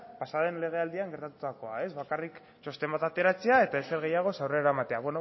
pasaden legealdian gertatutakoa bakarrik txosten bat ateratzea eta ezer gehiago aurrera ematea